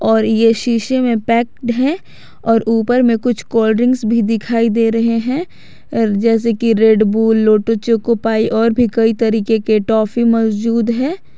और ये शीशे में पैक्ड है और ऊपर में कुछ कोल्ड ड्रिंक भी दिखाई दे रहे हैं जैसे की Red Bull Lotte choco pie और भी कई तरीके के ट्रॉफी मौजूद है।